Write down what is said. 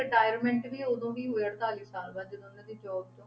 Retirement ਵੀ ਉਦੋਂ ਹੀ ਹੋਏ ਅੜਤਾਲੀ ਸਾਲ ਬਾਅਦ ਜਦੋਂ ਇਹਨਾਂ ਦੀ job ਤੋਂ